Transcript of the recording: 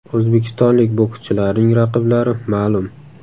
O‘zbekistonlik bokschilarning raqiblari ma’lum.